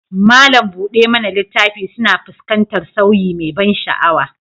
Malam buɗe mana littafi suna fuskantar sauyi mai ban sha'awa